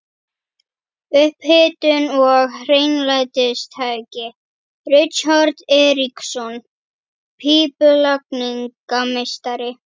Upphitun og hreinlætistæki: Richard Eiríksson, pípulagningameistari.